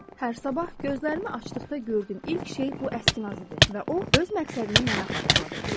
Hər sabah gözlərimi açdıqda gördüyüm ilk şey bu əskinaz idi və o öz məqsədimi mənə xatırladırdı.